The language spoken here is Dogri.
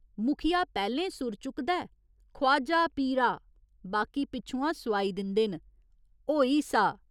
मुखिया पैह्‌लें सुर चुकदा ऐ ख्वाजा पीरा, बाकी पिच्छुआं सोआई दिंदे न होई सा।